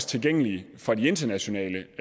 tilgængelige for de internationale